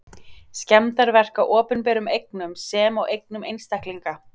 Skemmdarverk á opinberum eignum sem og eignum einstaklinga.